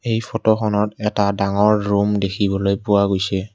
এই ফটোখনত এটা ডাঙৰ ৰূম দেখিবলৈ পোৱা গৈছে।